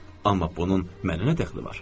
Amma bunun mənə nə dəxli var?